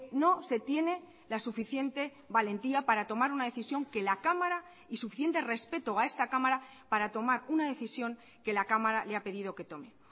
no se tiene la suficiente valentía para tomar una decisión que la cámara y suficiente respeto a esta cámara para tomar una decisión que la cámara le ha pedido que tome